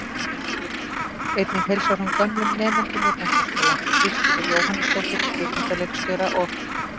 Einnig heilsar hún gömlum nemendum úr menntaskóla, Kristínu Jóhannesdóttur, kvikmyndaleikstjóra, og